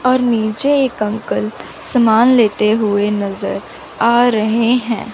और नीचे एक अंकल सामान लेते हुए नज़र आ रहे हैं।